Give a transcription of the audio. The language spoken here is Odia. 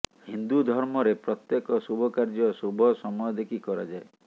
ହିନ୍ଦୁ ଧର୍ମରେ ପ୍ରତ୍ୟେକ ଶୁଭକାର୍ଯ୍ୟ ଶୁଭ ସମୟ ଦେଖି କରାଯାଏ